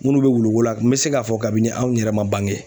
Minnu bɛ wuluko la n bɛ se k'a fɔ kabini anw yɛrɛ man bange.